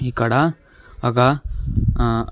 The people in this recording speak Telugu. ఇక్కడ ఒక ఆ--